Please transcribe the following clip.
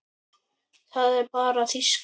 Það er bara þýska.